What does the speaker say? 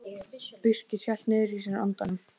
Birkir hélt niðri í sér andanum.